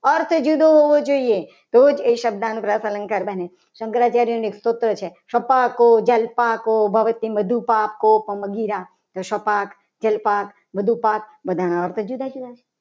અર્થ જુદો હોવો જોઈએ. તો જ એ શબ્દ અનુપ્રાસ અલંકાર બને શંકરાચાર્યનું એક સૂત્ર છે. શપાકો જલ્પા કો ભરત કો અધી રાખો સપાટ જલ્પા બધું પાક બધાના અર્થ જુદા જુદા છે.